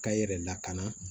K'a yɛrɛ lakana